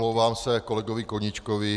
Omlouvám se kolegovi Koníčkovi.